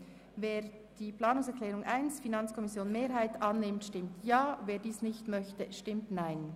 Wer die Planungserklärung 1 annimmt, stimmt Ja, wer das nicht möchte, stimmt Nein.